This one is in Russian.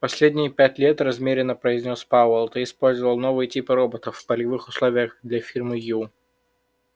последние пять лет размеренно произнёс пауэлл ты использовал новые типы роботов в полевых условиях для фирмы ю